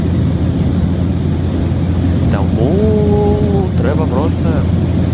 кому треба просто